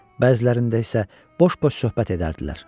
Bəzilərində isə boş-boş söhbət edərdilər.